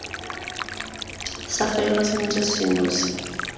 sa faelwa sentle seno se